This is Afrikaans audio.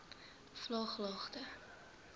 vlaaglagte